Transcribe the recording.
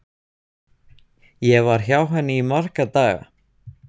Ég var hjá henni í marga daga.